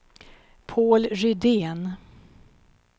Paul Rydén